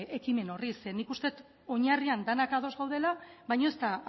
ekimen horri zeren nik uste dut oinarrian denak ados gaudela baino ez da